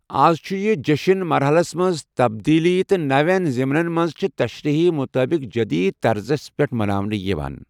اَز چُھ یہِ جیٚشٕن مرحَلس منٛز تبدیٖلی تہٕ نَوین ضِمنن تہٕ تشریحن مُطٲبِق جٔدیٖد طرزس پٮ۪ٹھ مَناونہٕ یِوان۔